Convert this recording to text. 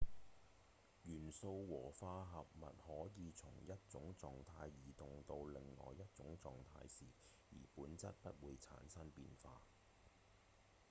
元素和化合物可以從一種狀態移動到另外一種狀態時而本質不會產生變化